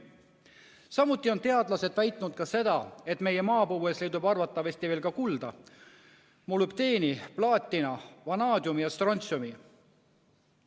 Samuti on teadlased väitnud seda, et meie maapõues leidub arvatavasti ka kulda, molübdeeni, plaatina, vanaadiumi ja strontsiumi.